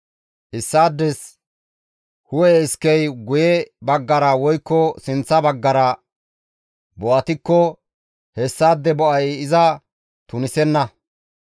«Issaades hu7e iskey guye baggara woykko sinththa baggara bo7atikko hessaade bo7ay iza tunisenna.